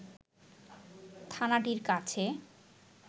থানাটির কাছে